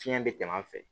Fiɲɛ bɛ tɛmɛ a fɛ